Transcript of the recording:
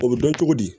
O bɛ dɔn cogo di